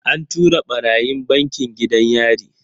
An tura ɓarayin bankin gidan yari.